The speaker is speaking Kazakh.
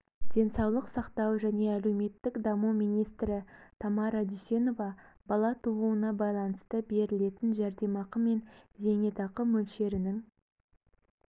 денсаулық сақтау және әлеуметтік даму министрі тамара дүйсенова бала тууына байланысты берілетін жәрдемақы мен зейнетақы мөлшерінің